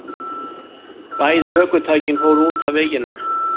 Bæði ökutækin fóru út af veginum